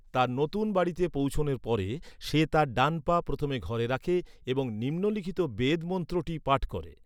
তার নতুন বাড়িতে পৌঁছানোর পরে, সে তার ডান পা প্রথমে ঘরে রাখে এবং নিম্নলিখিত বেদ মন্ত্রটি পাঠ করে।